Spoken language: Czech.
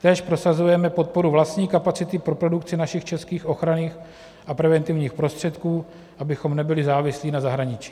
Též prosazujeme podporu vlastní kapacity pro produkci našich českých ochranných a preventivních prostředků, abychom nebyli závislí na zahraničí.